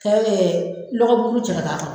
N'aw ye dɔgɔ buruburu cɛ ka k'a kɔrɔ.